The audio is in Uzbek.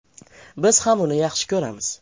Biz ham uni yaxshi ko‘ramiz.